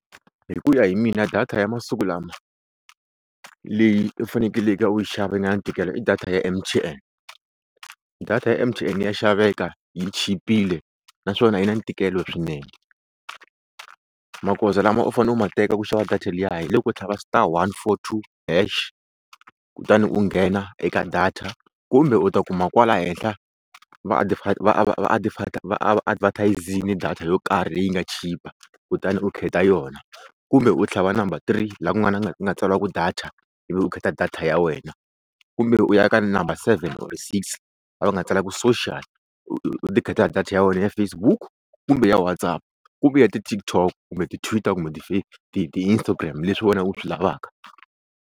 Hi ku ya hi mina data ya masiku lama leyi u fanekelake u yi xava yi nga na ntikelo i data ya M_T_N, data ya M_T_N ya xaveka yi chipile naswona yi na ntikelo swinene, magoza lama u fanele u ma teka ku xava data liya hi loko u tlhava star one four two hash kutani u nghena eka data kumbe u ta kuma kwala henhla va va advertise-ini data yo karhi leyi nga chipa kutani u khetha yona kumbe u tlhava number three laha ku nga na ku nga tsariwa ku data ivi u khetha data ya wena kumbe u ya ka number seven or six laha va nga tsala ku social u ti khetela data ya wena ya Facebook kumbe ya WhatsApp kumbe ya ti-TikTok kumbe ti-Tweeter kumbe ti ti-Instagram leswi wena u swi lavaka.